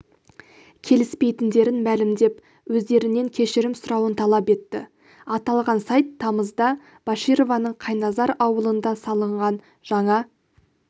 келіспейтіндерін мәлімдеп өздерінен кешірім сұрауын талап етті аталған сайт тамызда башированың қайназар ауылында салынған жаңа